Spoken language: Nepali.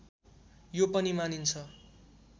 यो पनि मानिन्छ